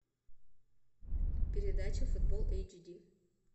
передача футбол эйч ди